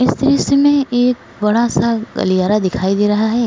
इस दृश्य में एक बड़ा सा गलियारा दिखायी दे रहा है।